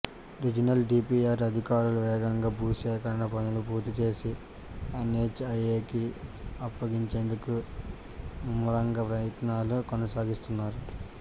regional DPR అధికారులు వేగంగా భూ సేకరణ పనులు పూర్తి చేసి ఎన్హెచ్ఐఏకి అప్పగించేందుకు ముమ్మరంగా ప్రయత్నాలు కొనసాగిస్తున్నారు